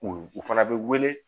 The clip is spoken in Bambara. U u fana bɛ wele